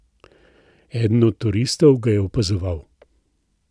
Eden od turistov ga je opazoval.